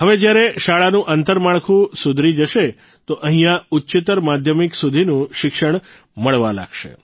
હવે જ્યારે શાળાનું આંતરમાળખું સુધરી જશે તો અહીંયા ઉચ્ચતર માધ્યમિક સુધીનું શિક્ષણ મળવા લાગશે